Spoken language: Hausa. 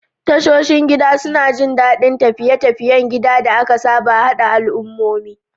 Tashoshin gida suna jin daɗin tafiye-tafiyen gida da aka saba, haɗa al'ummomi.